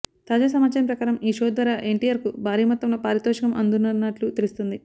తాజా సమాచారం ప్రకారం ఈ షో ద్వారా ఎన్టీఆర్ కు భారీ మొత్తంలో పారితోషకం అందనున్నట్లు తెలుస్తోంది